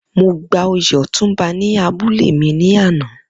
Mo gba oyè ọ̀túnba ní abúlé mi ní àná